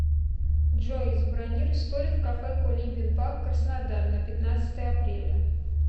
джой забронируй столик в кафе кулибин паб краснодар на пятнадцатое апреля